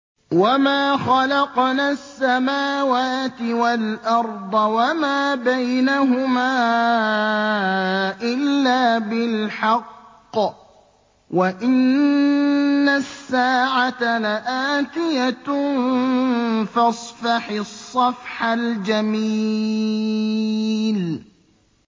وَمَا خَلَقْنَا السَّمَاوَاتِ وَالْأَرْضَ وَمَا بَيْنَهُمَا إِلَّا بِالْحَقِّ ۗ وَإِنَّ السَّاعَةَ لَآتِيَةٌ ۖ فَاصْفَحِ الصَّفْحَ الْجَمِيلَ